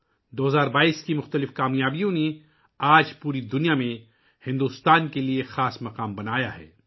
2022 ء کی مختلف کامیابیوں نے ، آج پوری دنیا میں بھارت کے لیے ایک خاص مقام بنایا ہے